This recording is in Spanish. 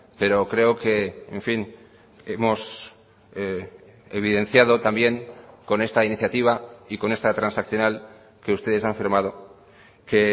pero creo que en fin hemos evidenciado también con esta iniciativa y con esta transaccional que ustedes han firmado que